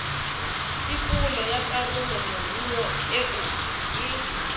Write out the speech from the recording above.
tikolo ya karolomoruo eo e